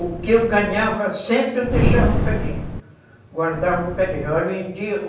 O que eu ganhava sempre eu deixava um bocadinho, guardava um bocadinho